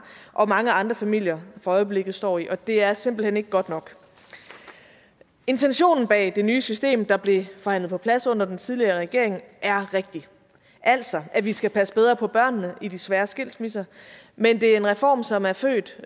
og mange andre familier for øjeblikket står i og det er simpelt hen ikke godt nok intentionen bag det nye system der blev forhandlet på plads under den tidligere regering er rigtig altså at vi skal passe bedre på børnene i de svære skilsmisser men det er en reform som er født